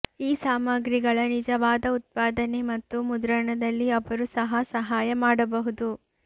ಈ ಸಾಮಗ್ರಿಗಳ ನಿಜವಾದ ಉತ್ಪಾದನೆ ಮತ್ತು ಮುದ್ರಣದಲ್ಲಿ ಅವರು ಸಹ ಸಹಾಯ ಮಾಡಬಹುದು